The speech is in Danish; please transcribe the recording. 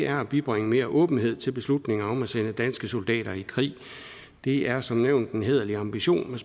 at bibringe mere åbenhed til beslutningen om at sende danske soldater i krig det er som nævnt en hæderlig ambition